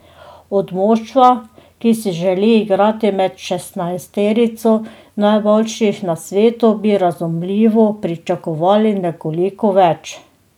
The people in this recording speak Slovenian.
Od moštva, ki si želi igrati med šestnajsterico najboljših na svetu, bi razumljivo pričakovali nekoliko več.